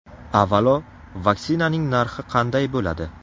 Avvalo, vaksinaning narxi qanday bo‘ladi?